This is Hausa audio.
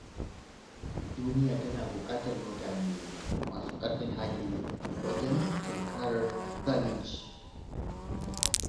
Duniya tana buƙatar mutane masu ƙarfin hali wajen tunkarar zalunci.